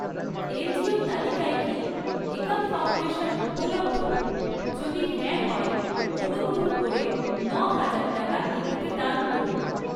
এনজিওর তালিকায় কি একাম ফাউন্ডেশন উপলব্ধ, যদি হ্যাঁ হয় অনুগ্রহ করে ন'হাজার টাকা এটিতে দান করুন।